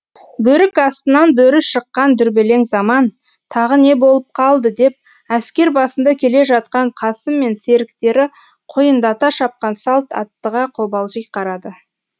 бөрік астынан бөрі шыққан дүрбелең заман тағы не болып қалды деп әскер басында келе жатқан қасым мен серіктері құйындата шапқан салт аттыға қобалжи қарады